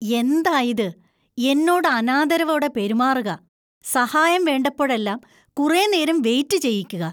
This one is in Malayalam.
എന്തായിത്? എന്നോട് അനാദരവോടെ പെരുമാറുക, സഹായം വേണ്ടപ്പോഴെല്ലാം കുറെ നേരം വെയിറ്റ് ചെയ്യിക്കുക.